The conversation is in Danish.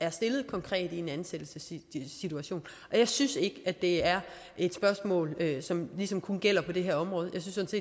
er stillet konkret i en ansættelsessituation jeg synes ikke det er et spørgsmål som ligesom kun gælder på det her område jeg synes